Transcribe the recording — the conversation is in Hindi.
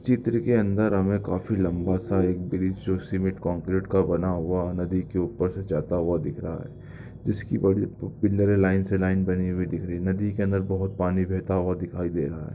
चित्र के अंदर हमे काफी लम्बा सा एक ब्रिज जो सीमेंट कंक्रीट बना हुआ नदी के ऊपर से जाता हुआ दिख रहा है जिसकी बड़ी पिल्लरे लाइन से लाइन बनी हुई दिख रही है नदी के अंदर बहुत पानी बहता हुआ दिखाई दे रहा है।